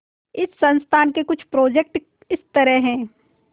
इस संस्थान के कुछ प्रोजेक्ट इस तरह हैंः